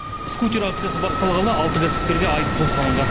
скутер акциясы басталғалы алты кәсіпкерге айыппұл салынған